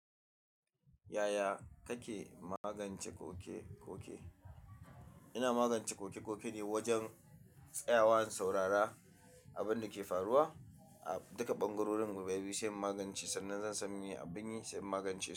Yaya kake magance koke-koke? Ina magance koke-koke ne wajen tsayawa saurara abin da ke faruwa a duka ɓangarorin biyu, sai in magance sannan zan san abin yi sai in magance su.